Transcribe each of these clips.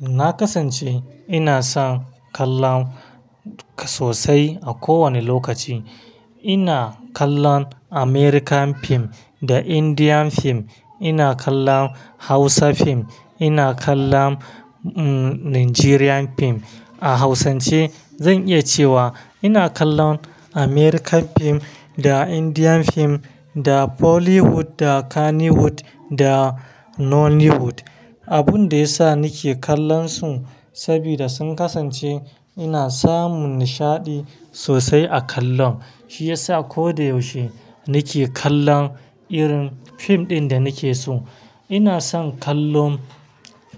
Na kasance, ina son kallon ka-- sosai a kowane lokaci. Ina kallon American film da Indian film, ina kallon Hausa film. Ina kallon Nigerian film, a Hausance, Zan iya cewa, ina kallon American film da Indian film, da Hollywood, da Kannywood, da Nollywood. Abun da ya sa nake kallon su, sabida sun kasance, ina samun nishaɗi sosai a kallon. Shi ya sa koda yaushe, nake kallon irin fim ɗin da nake so. Ina son kallon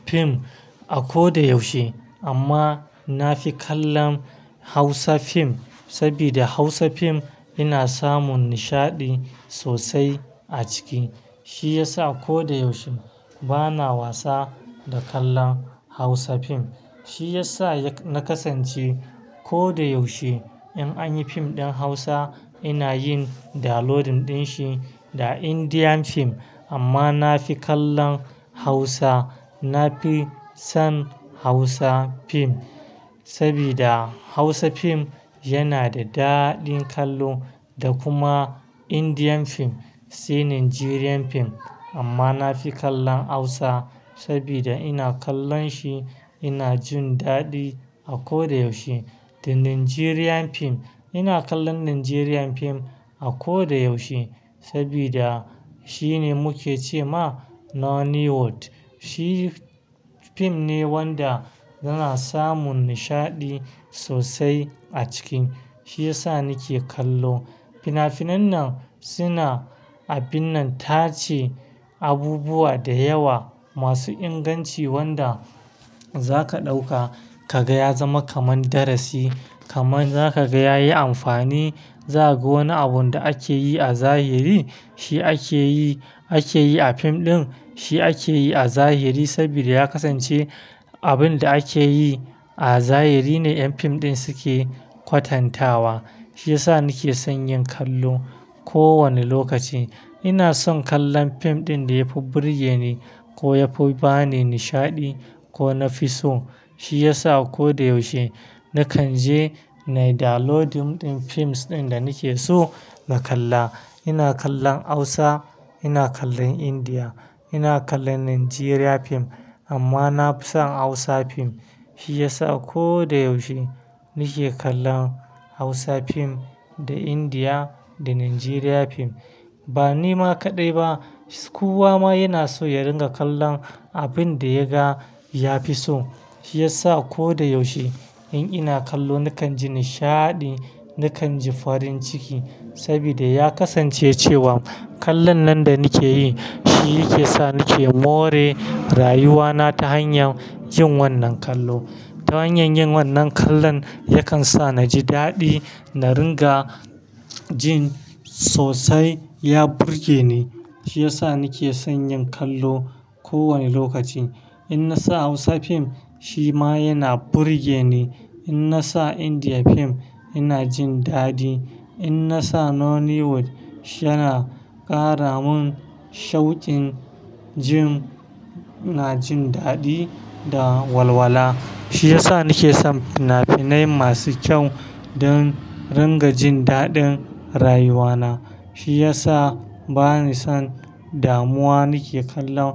fim a ko da yaushe, amma na fi kallon Hausa fim, sabida Hausa fim, ina samun nishaɗi sosai a ciki. Shi ya sa ko da yaushe, bana wasa da kallon Hausa fim. Shi ya sa na kasance, ko da yaushe, in anyi fim ɗin Hausa, ina yin downloading ɗin shi, da Indian fim, amma na fi kallon Hausa. Na fi son Hausa fim, sabida Hausa fim, yana da daɗin kallo. Da kuma Indian fim, sai Nigerian fim, amma na fi kallon Hausa, sabida ina kallon shi, ina jin daɗi a ko da yaushe. Da Nigerian fim, ina kallon Nigerian fim, a ko da yaushe, sabida, shine muke ce ma Nollywood. Shi fim ne wanda yana samun nishaɗi sosai a ciki. Shi ya sa nike kallo. Fina-finan nan, suna, abin nan tace abubuwa da yawa, masu inganci wanda za ka ɗauka ka ga ya zama kaman darasi. Kaman za ka ga ya yi amfani. Za ka ga wani abun da ake yi a zahiri, shi ake yi, ake yi a fim ɗin, Shi ake yi a zahiri sabida ya kasance, abun da ake yi a zahiri ne ƴan fim ɗin suke kwatantawa. Shi ya sa nake son yin kallo kowane lokaci. Ina son kallon fim ɗin da ya fi burge ni, ko ya fi bani nishaɗi, ko na fi so. Shi ya sa ko da yaushe, na kan je na yi downloading ɗin fims ɗin da nike so na kalla. Ina kallon Hausa, ina kallon India, ina kallon Nigerian fim, amma na fi son Hausa fim. Shi ya sa a ko da yaushe, nike kallon Hausa fim, da India da Nigerian fim. Ba ni ma kaɗai ba, kowa ma yana so ya ringa kallon abin da ya ga ya fi so. Shi ya sa ko da yaushe, in ina kallo na kan ji nishaɗi, na kan ji farin ciki, sabida ya kasance cewa, kallon nan da nake yi shi yake sa nake more rayuwa na ta hanyar jin wannan kallo. Ta hanyar yin wannan kallon, ya kan sa naji daɗi, na ringa jin sosai ya burge ni. Shi ya sa nake son yin kallo kowane lokaci. In na sa Hausa fim, shi ma yana burge ni. In na sa India fim, ina jin daɗi. In na sa Nollywood, yana ƙara mun shauƙin jin-- ina jin daɗi da walwala. Shi ya sa nake son fina-finai masu kyau, don ringa jin daɗin rayuwa na. Shi ya sa bani son damuwa. Nake kallon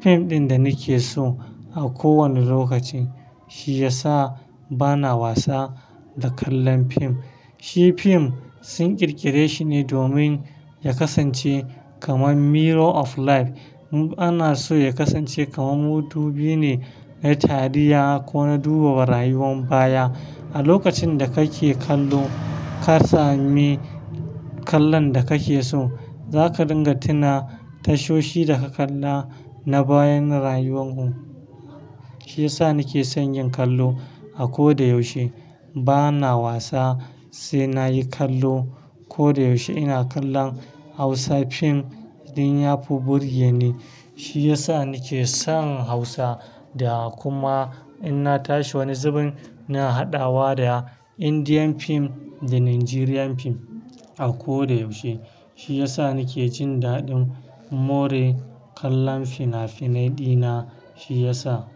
fim ɗin da nake so a kowane lokaci. Shi ya sa bana wasa da kallon fim. Shi fim sun ƙirƙire shi ne domin ya kasance kaman mirror of life. Mu ana so ya kasance kaman mudubi ne, na tarihiya ko na duba rayuwan baya. A lokacin da kake kallo, ka sami kallon da kake so, Za ka ringa tuna tashoshi da ka kalla na bayan rayuwan ku. Shi ya sa nake son yin kallo a ko da yaushe. Bana wasa, sai na yi kallo. Ko da yaushe ina kallon Hausa fim in ya fi burge ni. Shi ya sa nake son Hausa da kuma in na tashi wani zubin, na haɗawa da Indian fim da Nigerian fim, a ko da yaushe. Shi ya sa nake jin daɗin more kallon fina-finai ɗina, shi ya sa.